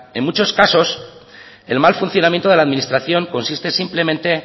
en muchos casos el mal funcionamiento de la administración consiste simplemente